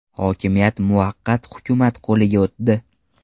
Hokimiyat muvaqqat hukumat qo‘liga o‘tdi.